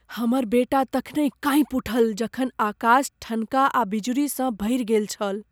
हमर बेटा तखनि काँपि उठल जखन आकाश ठनका आ बिजुरीसँ भरि गेल छल।